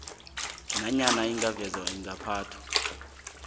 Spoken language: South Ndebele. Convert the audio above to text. nanyana lingavezwa ingaphathwa